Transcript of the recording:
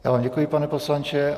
Já vám děkuji, pane poslanče.